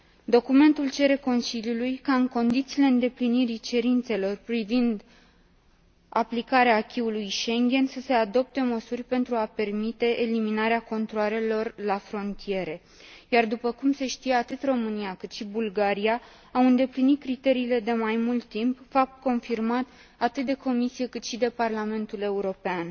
Documentul cere Consiliului ca, în condițiile îndeplinirii cerințelor privind aplicarea acquis ului Schengen, să se adopte măsuri pentru a permite eliminarea controalelor la frontiere, iar, după cum se știe, atât România, cât și Bulgaria au îndeplinit criteriile de mai mult timp, fapt confirmat atât de Comisie, cât și de Parlamentul European.